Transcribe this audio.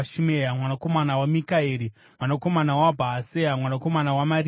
mwanakomana waMikaeri, mwanakomana Bhaaseya, mwanakomana waMarikia,